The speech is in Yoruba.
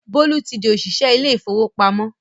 Bólú ti di òṣìṣẹ́ ilé ìfowópamọ́